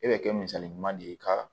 E bɛ kɛ misali ɲuman de ye ka